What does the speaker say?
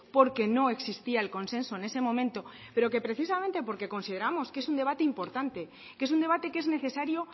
porque no existía el consenso en ese momento pero que precisamente porque consideramos que es un debate importante que es un debate que es necesario